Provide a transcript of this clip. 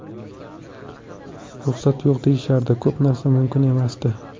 Ruxsat yo‘q deyishardi, ko‘p narsa mumkin emasdi.